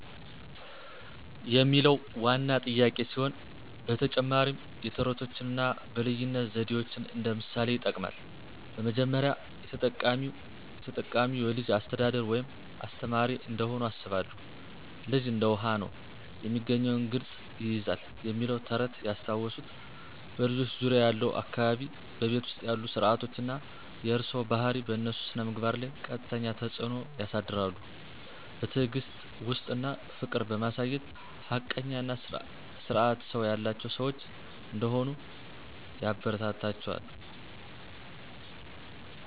የሚለው ዋና ጥያቄ ሲሆን፣ ተጨማሪም የተረቶችን አና በልይነት ዘዴዎችን እንደ ምሣሌ ይጥቅማል። በመጀመሪያ፣ የተጠቃው የተጠቃሚዉ የልጅች አሰተዳደር ወይም አስተማሪ እንደሆኑ አስባለሁን። ልጅ እንደ ዉሀ። ነው፤ የሚገኘውን ቅረጽ ይይዛል "የሚለው ተረት ያስታወሱት "በልጆች ዙርያ ያለው አካባቢ፣ በቤት ዉስጥ ያሉ ስረዓቶች አና የእርሰዋ ባሀሪ በእነሱ ስነምግባር ለይ ቀጥተኛ ተጽዕኖ ያሳድራሉ። በትዕግስት፣ ዉስጥት አና ፍቅር በማሳየት ሀቀኛ አና ስርአት ሰው ያላቸው ሰዋች እንደሆሂ ያበረታታችዉ።